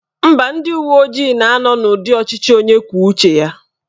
Mba, ndị uwe ojii na-anọ n'ụdị ọchịchị onye kwuo uche ya